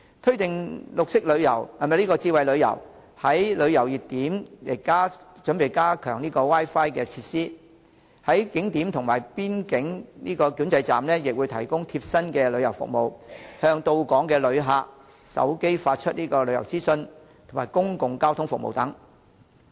推動智慧旅遊，在旅遊熱點加強 Wi-Fi 設施、在景點及邊境管制站提供貼身的旅遊服務，向到港旅客手機發出旅遊資訊、公共交通服務等。